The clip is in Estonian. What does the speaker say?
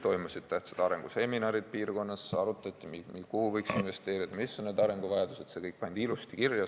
Toimusid tähtsad arenguseminarid piirkonnas, arutati, kuhu võiks investeerida, mis on need arenguvajadused, see kõik pandi ilusasti kirja.